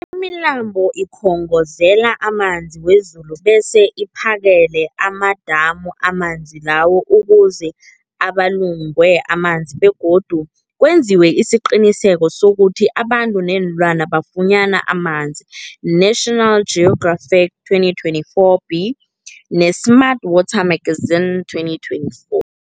Imilambo ikhongozela amanzi wezulu bese iphakele amadamu amanzi lawo ukuze abulungwe amanzi begodu kwenziwe isiqiniseko sokuthi abantu neenlwana bafunyana amanzi, National Geographic 2024b, ne-Smart Water Magazine 2024.